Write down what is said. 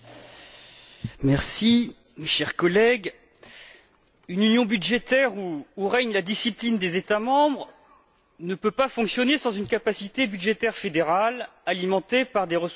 Madame la Présidente, chers collègues, une union budgétaire où règne la discipline des États membres ne peut pas fonctionner sans une capacité budgétaire fédérale, alimentée par des ressources propres pérennes.